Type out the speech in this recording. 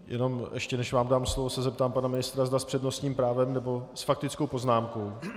Jenom ještě než vám dám slovo, zeptám se pana ministra, zda s přednostním právem, nebo s faktickou poznámkou.